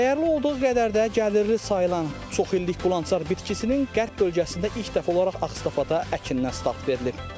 Dəyərli olduğu qədər də gəlirli sayılan çoxillik qulançar bitkisinin qərb bölgəsində ilk dəfə olaraq Ağstafada əkindən start verilib.